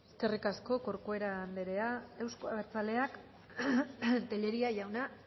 eskerrik asko corcuera anderea euzko abertzaleak tellería jauna